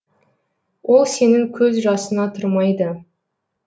ол сенің көз жасыңа тұрмайды